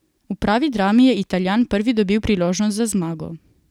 V pravi drami je Italijan prvi dobil priložnost za zmago.